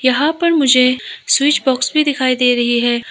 यहां पर मुझे स्विच बॉक्स दिखाई दे रही है।